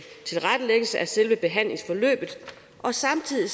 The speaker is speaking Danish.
selve behandlingsforløbet og samtidig